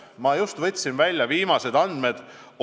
Ma just võtsin välja viimased andmed.